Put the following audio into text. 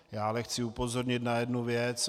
Já ale chci upozornit na jednu věc.